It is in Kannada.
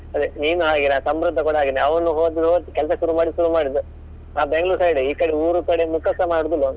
ಅದೇ ನೀನು ಹಾಗೇನೆ ಆ ಸಮೃದ್ಧ ಕೂಡ ಹಾಗೇನೆ ಅವನು ಹೋದ್ನ್ ಹೋದ್ ಕೆಲಸ ಶುರು ಮಾಡಿದ್ದ್ ಶುರು ಶುರುಮಾಡಿದ್ದು ಆ Bangalore side ಈಕಡೆ ಊರುಕಡೆ ಮುಕಸ ಮಾಡುದಿಲ್ಲ ಅವನು.